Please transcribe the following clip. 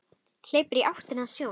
Hleypur í áttina að sjónum.